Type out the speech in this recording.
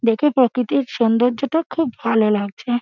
দেখে প্রাকৃতিক সৌন্দর্য্য টা খুব ভালো লাগছে।